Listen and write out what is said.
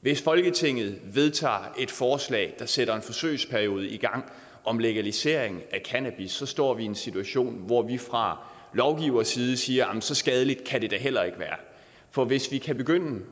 hvis folketinget vedtager et forslag der sætter en forsøgsperiode i gang om legalisering af cannabis står vi i en situation hvor vi fra lovgivers side siger at så skadeligt kan det da heller ikke være for hvis vi kan begynde